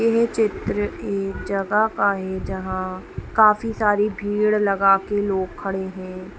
ये चित्र एक जगह का है जहां काफी सारे भीड़ लगाके लोग खड़े हैं ।